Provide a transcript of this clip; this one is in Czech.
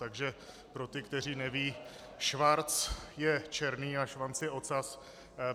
Takže pro ty, kteří nevědí, schwarz je černý a Schwanz je ocas.